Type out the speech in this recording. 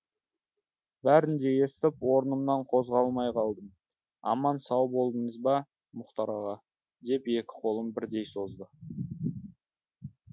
бәрін де естіп орнымнан қозғалмай қалдым аман сау болдыңыз ба мұхтар аға деп екі қолын бірдей созды